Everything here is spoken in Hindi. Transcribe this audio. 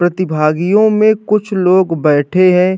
प्रतिभागियों में कुछ लोग बैठे हैं।